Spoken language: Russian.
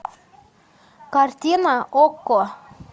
картина окко